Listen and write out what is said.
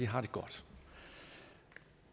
har det godt